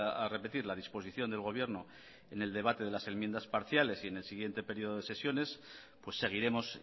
a repetir la disposición del gobierno en el debate de las enmiendas parciales y en el siguiente periodo de sesiones seguiremos